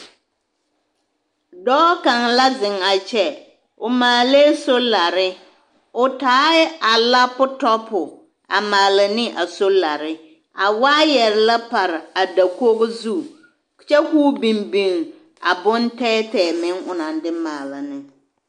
Dɔɔ kaŋ la zeŋ a kyɛ, o maalɛɛ solare o taɛ a lapotɔpo a maala ne a solare, a waayɛre la pare a dakogi zu kyɛ k'o biŋ biŋ a bontɛɛtɛɛ meŋ onaŋ de maala ne.